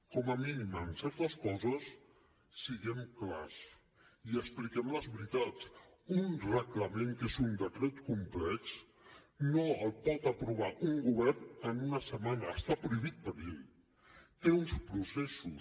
com a mínim en certes coses siguem clars i expliquem les veritats un reglament que és un decret complex no el pot aprovar un govern en una setmana està prohibit per llei té uns processos